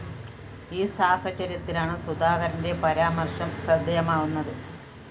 ഈ സാഹചര്യത്തിലാണ് സുധാകരന്റെ പരാമര്‍ശം ശ്രദ്ധയമാകുന്നത്